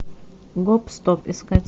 гоп стоп искать